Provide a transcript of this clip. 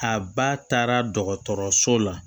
A ba taara dɔgɔtɔrɔso la